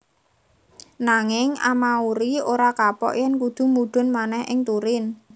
Nanging Amauri ora kapok yèn kudu mudhun manèh ing Turin